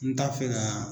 N t'a fɛ ka